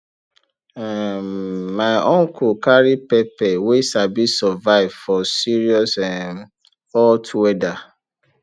um my uncle carry pepper wey sabi survive for serious um hot weather